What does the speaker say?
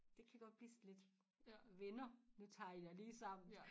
Det kan godt blive sådan lidt venner nu tager I jer lige sammen